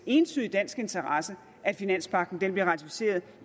entydig dansk interesse at finanspagten bliver ratificeret